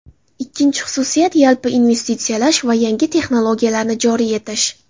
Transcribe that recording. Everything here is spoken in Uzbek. Ikkinchi xususiyat yalpi investitsiyalash va yangi texnologiyalarni joriy etish.